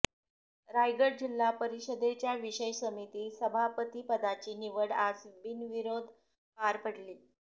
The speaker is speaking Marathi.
रायगड जिल्हा परीषदेच्या विषय समिती सभापतीपदाची निवड आज बिनविरोध पार पडली